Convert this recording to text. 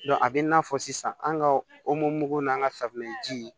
a bɛ n'a fɔ sisan an ka o mugu n'an ka safinɛjiw